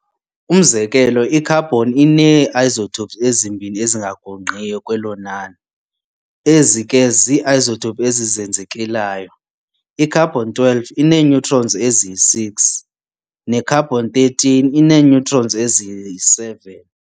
Umzekelo, i-carbon inee-isotopes ezimbini ezingagungqiyo kwelo nani, ezi ke zii-isotopes ezizenzekelayo- i-carbon-12, inee-neutrons ezi-6, ne-carbon-13, ii-neutrons eziyi-7.